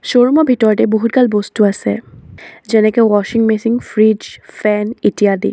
Showroom ৰ ভিতৰতে বহুত গাল বস্তু আছে যেনেকে ৱাশ্বিং মেচিন ফ্ৰিজ ফেন ইত্যাদি।